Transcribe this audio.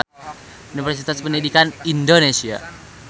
Universitas Pendidikan Indonesia.